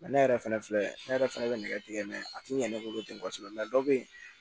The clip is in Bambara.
ne yɛrɛ fɛnɛ filɛ ne yɛrɛ fɛnɛ bɛ nɛgɛ tigɛ a ti ɲɛ ne bolo ten kosɛbɛ dɔ be yen